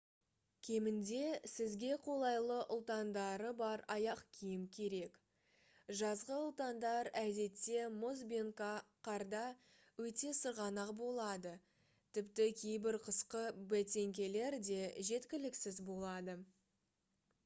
кемінде сізге қолайлы ұлтандары бар аяқ киім керек жазғы ұлтандар әдетте мұз бен қарда өте сырғанақ болады тіпті кейбір қысқы бәтеңкелер де жеткіліксіз болады